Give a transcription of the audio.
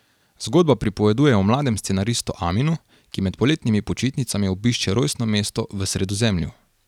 Zgodba pripoveduje o mlademu scenaristu Aminu, ki med poletnimi počitnicami obišče rojstno mesto v Sredozemlju.